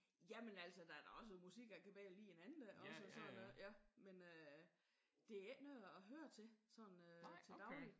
Jamen altså der er da også musik jeg kan bedre lide end andet også og sådan noget men det er ikke noget jeg hører til sådan øh til dagligt